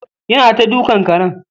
Ya na ta dukkan karen.